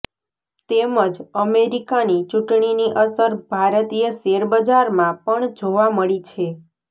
તેમજ અમેરિકાની ચૂંટણીની અસર ભારતીય શેરબજારમાં પણ જોવા મળી છે